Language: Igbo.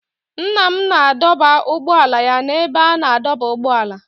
Nna m na-adọba ụgbọala ya n'ebe a na-adọba ụgbọala.